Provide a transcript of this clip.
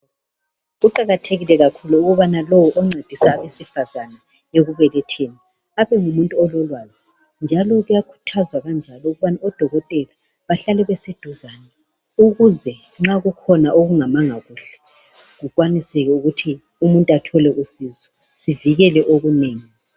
Kuqakathekile kakhulu ukubana lowo oncedisa abesifazane ekubeletheni abe ngumuntu ololwazi. Njalo kuyakhuthazwa ukubana odokotela bahlale beseduzane ukuze nxa kukhona okungamanga kuhle kukwaniseke ukuthi umuntu athole usizo sivikele okunengi.